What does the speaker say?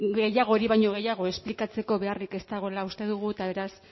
hori baino gehiago esplikatzeko beharrik ez dagoela uste dugu eta beraz